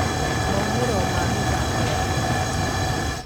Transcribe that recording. Maumero ma mithako ya ũrata.